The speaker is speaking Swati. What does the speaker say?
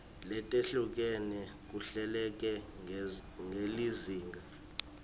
letehlukene kuhleleke ngelizinga